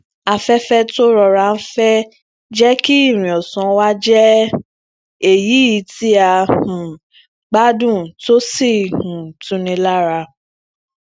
aféfé tó ń rọra fẹ jẹ kí ìrìn ọsan wa jẹ eyi ti a um gbádùn tó um sì tuni lára